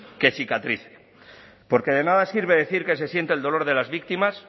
que cicatrice porque de nada sirve decir que se siente el dolor de las víctimas